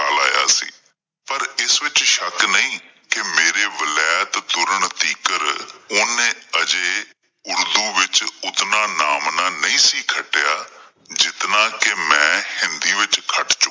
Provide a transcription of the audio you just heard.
ਪਰ ਇਸ ਵਿੱਚ ਸ਼ੱਕ ਨਹੀਂ, ਕਿ ਮੇਰੇ ਵਲੈਤ ਤੁਰਨ ਤੀਂਕਰ ਉਹਨੇ ਅਜੇ ਉਰਦੂ ਵਿੱਚ ਉਂਤਨਾਂ ਨਾਮਨਾਂ ਨਹੀਂ ਸੀ ਖੱਟਿਆਂ ਜਿਤਨਾਂ ਕਿ ਮੈਂ ਹਿੰਦੀ ਵਿੱਚ ਖੱਟ ਚੁੱਕਿਆ ਸੀ।